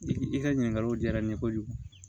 I ka ɲininkaliw diyara n ye kojugu